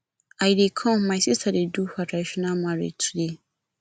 i dey come my sister dey do her traditional marriage today